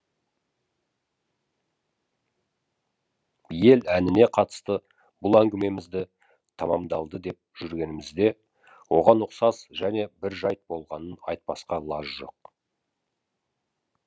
ел әніне қатысты бұл әңгімемізді тәмәмдалды деп жүргенімізде оған ұқсас және бір жәйт болғанын айтпасқа лаж жоқ